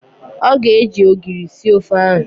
Ọ ga-eji ogiri sie ofe ahụ